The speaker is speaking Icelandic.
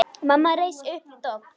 Mamma reis upp við dogg.